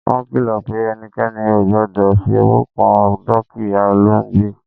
wọn kìlò̩ pe ẹnikẹni ò gbọdọ̀ fi ọwọ́ kan dúkìyá olóògbé